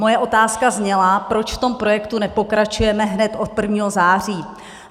Moje otázka zněla, proč v tom projektu nepokračujeme hned od 1. září.